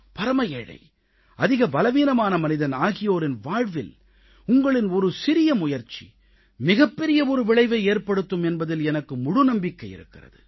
பரம ஏழை அதிக பலவீனமான மனிதன் ஆகியோரின் வாழ்வில் உங்களின் ஒரு சிறிய முயற்சி மிகப்பெரிய ஒரு விளைவை ஏற்படுத்தும் என்பதில் எனக்கு முழு நம்பிக்கை இருக்கிறது